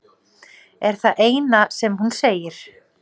er það eina sem hún segir.